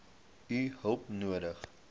u hulp nodig